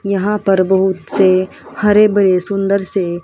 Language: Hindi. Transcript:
यहां पर बहुत से हरे भरे सुंदर से--